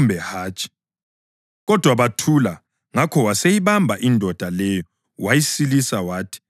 Kodwa bathula. Ngakho waseyibamba indoda leyo wayisilisa wathi kayihambe.